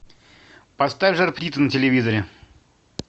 поставь жар птицу на телевизоре